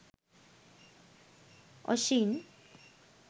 oshin